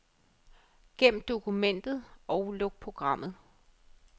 Gem dokumentet og luk programmet.